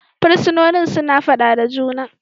Fursunonin suna fada da juna.